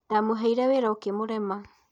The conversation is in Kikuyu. Ndamũheire wĩra ũkmurema